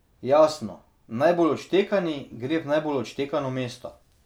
Jasno, najbolj odštekani gre v najbolj odštekano mesto.